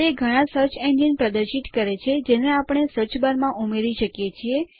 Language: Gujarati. તે ઘણા સર્ચ એન્જિન પ્રદર્શિત કરે છે જેને આપણે સર્ચ બાર માં ઉમેરી શકીએ છીએ